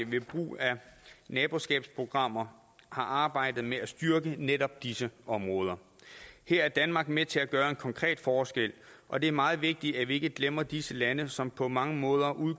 ved brug af naboskabsprogrammer har arbejdet med styrke netop disse områder her er danmark med til at gøre en konkret forskel og det er meget vigtigt at vi ikke glemmer disse lande som på mange måder